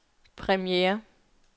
premiere